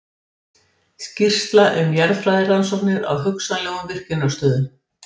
Skýrsla um jarðfræðirannsóknir á hugsanlegum virkjunarstöðum.